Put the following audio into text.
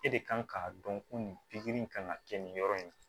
E de kan k'a dɔn ko nin pikiri in kan ka kɛ nin yɔrɔ in na